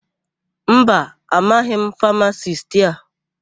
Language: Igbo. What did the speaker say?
Mba, amaghị m famasisti a.